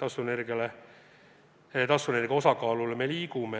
taastuvenergia osakaalu suurendamise poole me liigume.